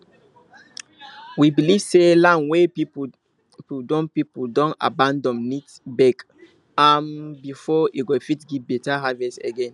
we believe say land wey people don people don abandon need beg um before e go fit give better harvest again